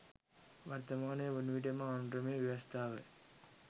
වර්තමානය වනවිට එම ආණඩුක්‍රම ව්‍යවස්ථාව